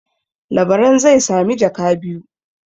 Labaran zai sami jaka biyu.